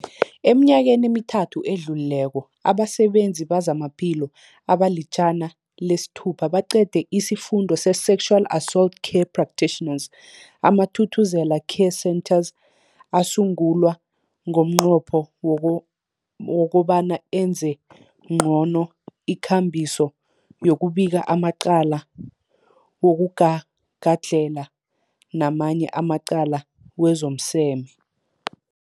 Eminyakeni emithathu edluleko, abasebenzi bezamaphilo abali-106 baqede isiFundo se-Sexual Assault Care Practitioners. AmaThuthuzela Care Centres asungulwa ngomnqopho woko wokobana enze ngcono ikambiso yokubika amacala wokugagadlhela namanye amacala wezomseme.